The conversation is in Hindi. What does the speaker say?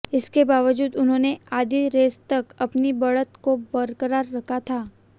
इसके बावजूद उन्होंने आधी रेस तक अपनी बढ़त को बरकरार रखा था